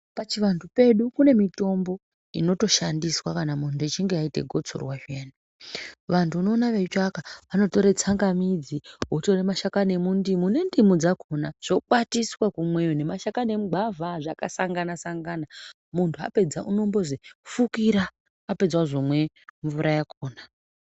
Pachivantu pedu kune mitombo inotoshandiswa kana muntu echinge aita gotsorwa zviyani. Vantu unoona veitsvaka vanotora tsangamidzi votore mashakani emundimu nendimu dzakhona zvokwatiswa kumweyo nemashakani emugwavha zvakasangana-sangana. Muntu apedza unombozi fukira apedza ozomwe mvura yakhona.